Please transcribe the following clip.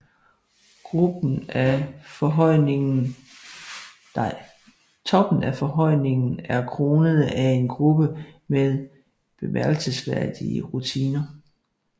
Toppen af forhøjningen er kronet af en gruppe med bemærkelsesværdige ruiner